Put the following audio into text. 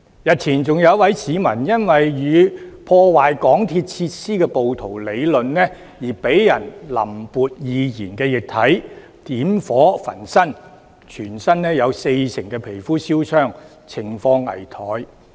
日前更有一位市民，因為與破壞港鐵設施的暴徒理論，遭人淋潑易燃液體、點火焚身，他全身有四成皮膚燒傷，情況危殆。